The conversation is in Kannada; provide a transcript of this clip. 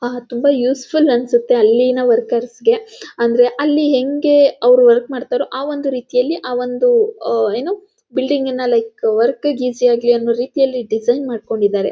ತುಂಬಾ ಯೂಸ್ಫುಲ್ ಅನ್ಸತ್ತೆ ಅಲ್ಲಿನ ವರ್ಕರ್ಸ್ ಗೆ ಅಂದರೆ ಅಲ್ಲಿ ಹೆಂಗೆ ಅವರು ವರ್ಕ್ ಮಾಡ್ತಾರೋ ಆ ಒಂದು ರೀತಿಯಲ್ಲಿ ಆ ಒಂದು ಏನು ಬಿಲ್ಡಿಂಗ್ ನ ಲೈಕ್ ವರ್ಕ್ ಗೆ ಈಜಿ ಆಗಲಿ ಅನ್ನೋ ರೀತಿಯಲ್ಲಿ ಡಿಸೈನ್ ಮಾಡ್ಕೊಂಡಿದಾರೆ.